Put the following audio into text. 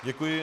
Děkuji.